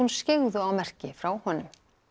skyggðu á merki frá honum